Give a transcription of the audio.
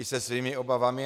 I se svými obavami.